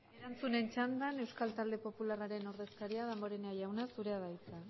eskerrik asko gorospe anderea erantzunen txandan euskal talde popularraren ordezkaria damborenea jauna zurea da hitza